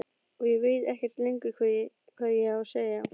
Og ég veit ekkert lengur hvað ég á að segja.